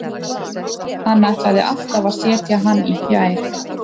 Hann ætlaði alltaf að setja hann í fjær.